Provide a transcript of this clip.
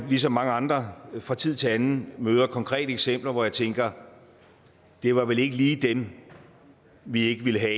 ligesom mange andre fra tid til anden møder konkrete eksempler hvor jeg tænker det var vel ikke lige dem vi ikke ville have